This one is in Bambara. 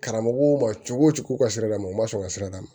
Karamɔgɔw ma cogo cogo u ka siradamaw u ma sɔn u ka sira d'a ma